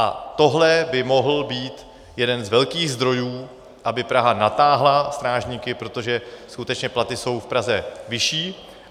A tohle by mohl být jeden z velkých zdrojů, aby Praha natáhla strážníky, protože skutečně platy jsou v Praze vyšší.